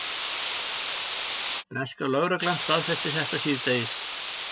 Breska lögreglan staðfesti þetta síðdegis